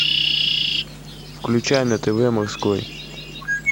включай на тв морской